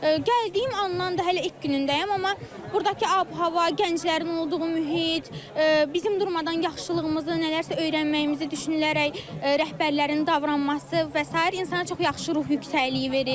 Gəldiyim andan da hələ ilk günündəyəm, amma burdakı ab-hava, gənclərin olduğu mühit, bizim durmadan yaxşılığımızı, nələrsə öyrənməyimizi düşünülərək rəhbərlərin davranışı və sair insana çox yaxşı ruh yüksəkliyi verir.